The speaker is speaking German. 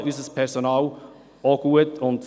Denn wir bezahlen unser Personal auch gut.